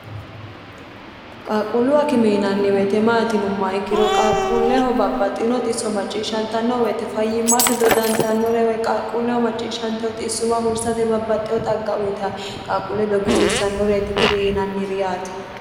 qaaqquullu akime yinanniweite maati yinumma ikkiro qaaqquulleho babbaxxino xisso macciishshantannowoyite fayyimmate dodantannorewe qaaqquulleho macciishshanteho xissuwa huursate babbaxxeho xaggauyita qaaqquulle dogisiissannoreeti kuri yiinannireeti yaate